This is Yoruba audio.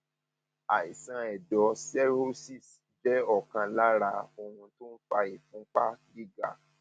àìsàn ẹdọ cirrhosis jẹ ọkan lára ohun tó ń fa ìfúnpá gíga